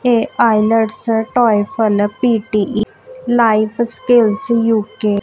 ਇਹ IELTS TOEFL P T E life skills UK